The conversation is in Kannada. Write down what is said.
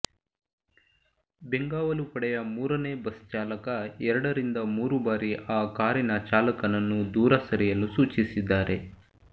ಬೆಂಗಾವಲು ಪಡೆಯ ಮೂರನೇ ಬಸ್ ಚಾಲಕ ಎರಡರಿಂದ ಮೂರು ಬಾರಿ ಆ ಕಾರಿನ ಚಾಲಕನನ್ನು ದೂರ ಸರಿಯಲು ಸೂಚಿಸಿದ್ದಾರೆ